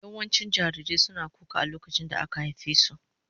Yawancin jarirai suna kuka a lokacin da aka haife su.